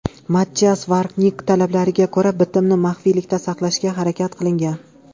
Mattias Varnig talabiga ko‘ra, bitmni maxfiylikda saqlashga harakat qilingan.